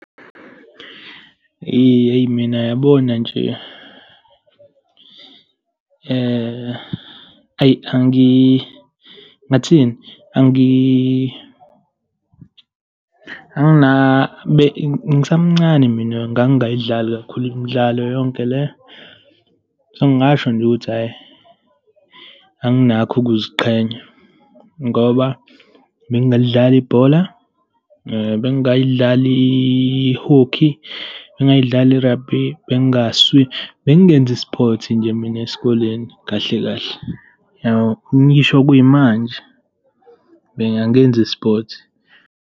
Hheyi mina yabona nje, hhayi, ngingathini, ngisamncane mina ngangayidlali kakhulu imidlalo yonke le. So, ngingasho nje ukuthi hhayi, anginakho ukuziqhenya, ngoba bengingalidlala ibhola, bengayidli i-hockey, bengingay'dlali i-rugby, bengingaswimi, bengingenzi sport nje mina esikoleni kahle kahle, yabo. Ngisho kuyimanje, angenzi sport.